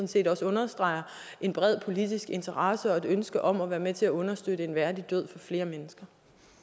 set understreger en bred politisk interesse og et ønske om at være med til at understøtte en værdig død for flere mennesker